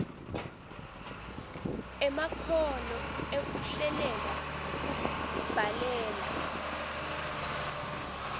emakhono ekuhlelela kubhalela